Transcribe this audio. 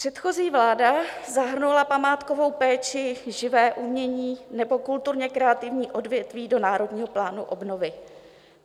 Předchozí vláda zahrnula památkovou péči, živé umění nebo kulturně kreativní odvětví do Národního plánu obnovy.